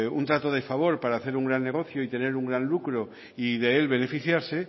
un trato de favor para hacer un gran negocio y tener un gran lucro y del beneficiarse